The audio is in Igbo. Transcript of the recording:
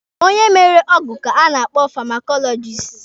Onye mere ọgwụ ka a na-akpọ famakọlọjisti.